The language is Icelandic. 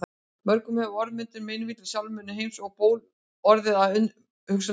Mörgum hefur orðmyndin meinvill í sálminum Heims um ból orðið að umhugsunarefni.